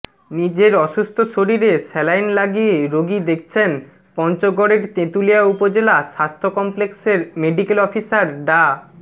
নিজের অসুস্থ শরীরে স্যালাইন লাগিয়ে রোগী দেখছেন পঞ্চগড়ের তেঁতুলিয়া উপজেলা স্বাস্থ্য কমপ্লেক্সের মেডিকেল অফিসার ডা